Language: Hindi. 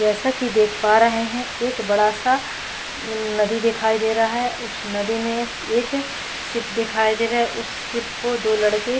जैसा की देख पा रहे है एक बड़ा सा नदी दिखाई दे रहा है उस नदी में इंक शिप दिखाई दे रहे है उस शिप को दो लड़के --